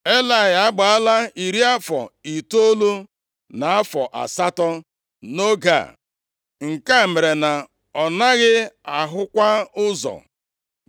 Elayị agbaala iri afọ itoolu na afọ asatọ nʼoge a, nke mere na ọ naghị ahụkwa ụzọ.